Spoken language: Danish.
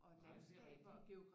Nej det er rigtig